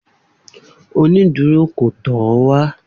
Oniduro ko tọ ọ wá